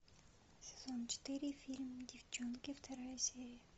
сезон четыре фильм девчонки вторая серия